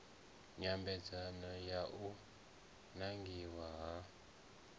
nyambedzano ya u nangiwa ha